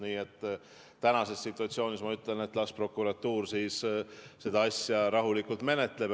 Nii et tänases situatsioonis ma ütlen, et las prokuratuur siis seda asja rahulikult menetleb.